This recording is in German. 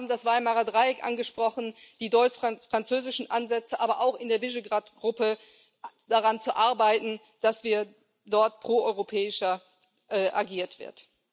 Sie haben das Weimarer Dreieck angesprochen, die deutsch französischen Ansätze, aber auch, in der Visegrád Gruppe daran zu arbeiten, dass dort proeuropäischer agiert wird.